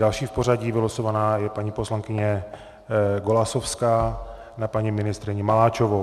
Další v pořadí vylosovaná je paní poslankyně Golasowská - na paní ministryni Maláčovou.